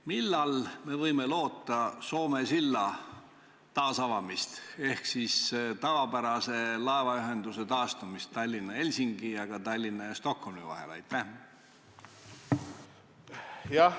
Millal me võime loota Soome silla taasavamist ehk tavapärase laevaühenduse taastumist Tallinna–Helsingi ja ka Tallinna–Stockholmi vahel?